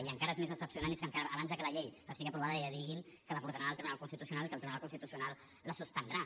i encara és més decebedor és que abans de que la llei estigui aprovada ja diguin que la portaran al tribunal constitucional que el tribunal constitucional la suspendrà